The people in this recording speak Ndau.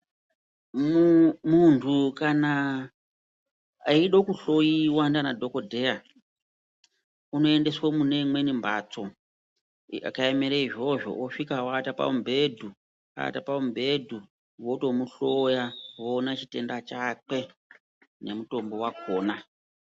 Munhu kana eida kuhloiwa ndiana dhokodheya unoendeswe kune mune imweni mbatso yakaemere izvozvo osvika owata pamubhedhu, awata pamubhedhu wotomuhloya woona chitenda chakwe